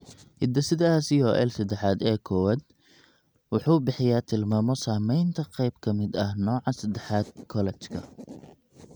Hidde-sidaha COL sedexad A kowaad wuxuu bixiyaa tilmaamo samaynta qayb ka mid ah nooca sedexaad kolajka.